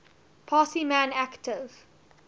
parsi man active